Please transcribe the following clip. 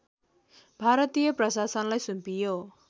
भारतीय प्रशासनलाई सुम्पियो